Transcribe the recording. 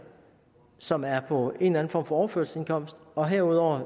som er på en eller anden form for overførselsindkomst og herudover